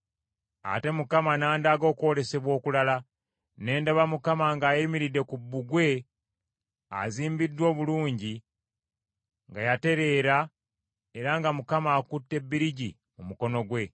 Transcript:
Ate Mukama n’andaga okwolesebwa okulala. Ne ndaba Mukama ng’ayimiridde ku bbugwe azimbiddwa obulungi nga yatereera era nga Mukama akutte bbirigi mu mukono gwe.